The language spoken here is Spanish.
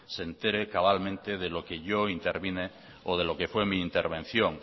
se entere cabalmente de lo que yo intervine o de lo que fue mi intervención